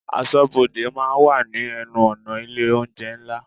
Aṣọ́bodè máa ń wà ní ẹnu-ọ̀nà ilé oúnjẹ ńlá.